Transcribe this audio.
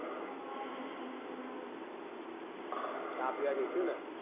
ચા પીવા જઈશું ને